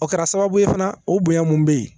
O kɛra sababu ye fana o bonya mun bɛ yen